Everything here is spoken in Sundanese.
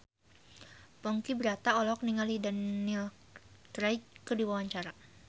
Ponky Brata olohok ningali Daniel Craig keur diwawancara